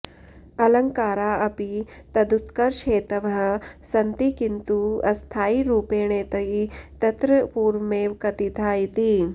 अलङ्कारा अपि तदुत्कर्षहेतवः सन्ति किन्तु अस्थायिरूपेणेति तत्र पूर्वमेव कथिता इति